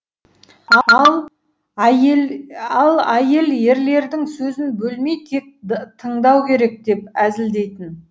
ал әйел ерлердің сөзін бөлмей тек тыңдау керек деп әзілдейтін